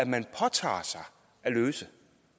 man påtager sig at løse